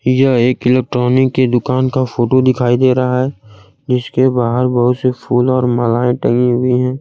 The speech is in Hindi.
यह एक इलेक्ट्रॉनिक के दुकान का फोटो दिखाई दे रहा है जीसके बाहर बहुत से फूल और मालाएं टंगी हुई है।